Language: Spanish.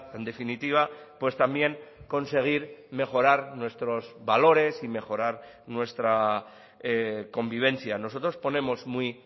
en definitiva pues también conseguir mejorar nuestros valores y mejorar nuestra convivencia nosotros ponemos muy